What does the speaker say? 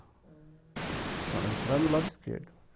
Ah... Então, entrando do lado esquerdo.